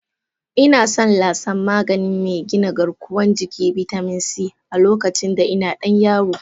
Ina son lasan magani mai gina garkuwan jiki/bitamin C, a lokacinda ina dan yaro.